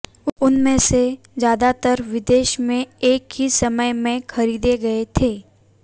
उनमें से ज्यादातर विदेश में एक ही समय में खरीदे गए थे